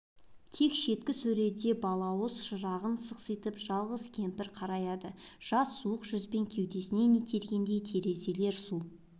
тек шеткі сөреде балауыз шырағын сықситып жалғыз кемпір қараяды жат суық жүзбен кеудесінен итергендей терезелер су